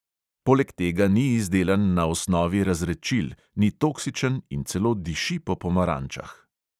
Poleg tega ni izdelan na osnovi razredčil, ni toksičen in celo diši po pomarančah.